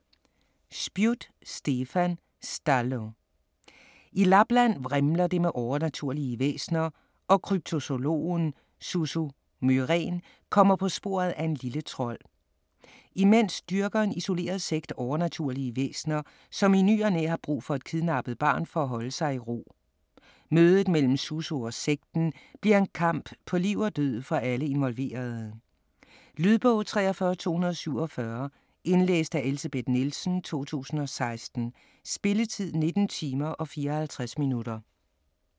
Spjut, Stefan: Stallo I Lapland vrimler det med overnaturlige væsener, og kryptozoologen Susso Myrén kommer på sporet af en lille trold. Imens dyrker en isoleret sekt overnaturlige væsener, som i ny og næ har brug for et kidnappet barn for at holde sig i ro. Mødet mellem Susso og sekten bliver en kamp på liv og død for alle involverede. Lydbog 43247 Indlæst af Elsebeth Nielsen, 2016. Spilletid: 19 timer, 54 minutter.